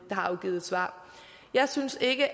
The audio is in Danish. har afgivet svar jeg synes ikke